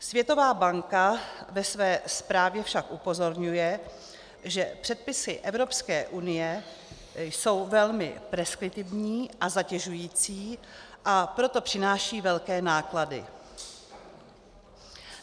Světová banka ve své zprávě však upozorňuje, že předpisy Evropské unie jsou velmi preskriptivní a zatěžující, a proto přináší velké náklady.